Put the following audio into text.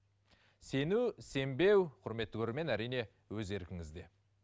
сену сенбеу құрметті көрермен әрине өз еркіңізде